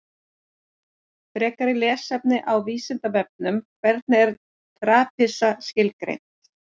Frekara lesefni á Vísindavefnum: Hvernig er trapisa skilgreind?